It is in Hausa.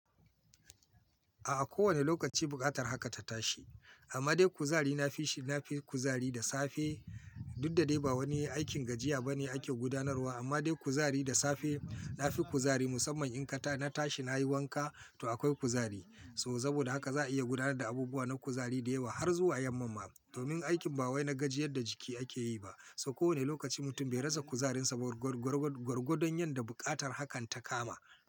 A ko wane lokaci buƙatar haka ta tashi. Amma dai kuzari na fishi, na fi kuzari da safe. Dudda dai ba wani aikin gajiya ba ne ake gudanarwa amma dai kuzari da safe, na fi kuzari musamman in ka ta na tashi, na yi wanka to akwai kuzari. So saboda haka za a iya gudanar da abubuwa na kuzari da yawa har zuwa yamma ma. Domin aikin ba wai na gajiyar da jiki ake yi ba. So ko wane lokaci mutum bai rasa kuzarinsa ba gwargwadon yadda buƙatar hakan ta kama.